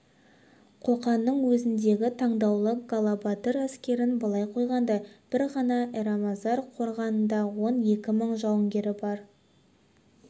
қоқанның өзіндегі таңдаулы галабатыр әскерін былай қойғанда бір ғана эрмазар қорғанында он екі мың жауынгері бар